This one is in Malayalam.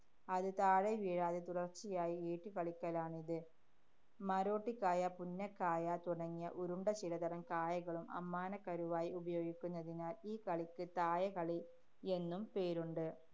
അത് താഴെ വീഴാതെ തുടര്‍ച്ചയായി ഏറ്റുകളിക്കലാണ് ഇത്. മരോട്ടിക്കായ, പുന്നക്കായ തുടങ്ങിയ ഉരുണ്ട ചിലതരം കായകളും അമ്മാനക്കരുവായി ഉപയോഗിക്കുന്നതിനാല്‍ ഈ കളിക്ക് തായകളി എന്നും പേരുണ്ട്.